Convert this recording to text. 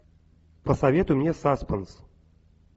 посоветуй мне саспенс